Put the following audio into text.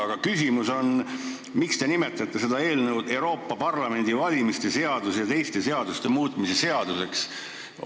Aga miks te nimetate seda eelnõu Euroopa Parlamendi valimise seaduse ja teiste seaduste muutmise seaduse eelnõuks?